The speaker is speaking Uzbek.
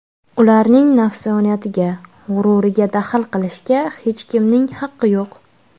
Ularning nafsoniyatiga, g‘ururiga daxl qilishga hech kimning haqqi yo‘q.